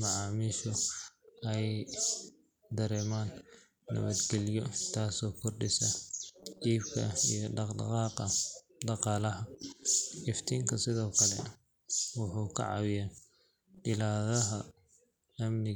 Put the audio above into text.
macaamiishu ay dareemaan nabadgelyo, taasoo kordhisa iibka iyo dhaqdhaqaaqa dhaqaalaha. Iftiinka sidoo kale wuxuu ka caawiyaa ilaalada amniga.